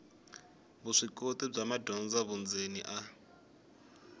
vuswikoti bya madyondza vundzeni a